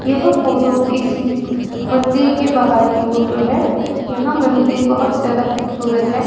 यह फोटो किसी मंदिर के बाहर की फोटो है यह मंदिर बहोत ज्यादा खूबसूरत है।